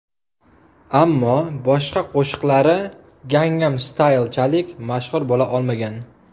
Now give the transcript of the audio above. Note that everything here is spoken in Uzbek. Ammo boshqa qo‘shiqlari Gangnam Style’chalik mashhur bo‘la olmagan.